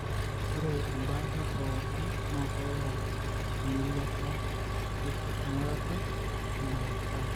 ore embaata pooki na keyieu engiriata pipik engurata enaake ang.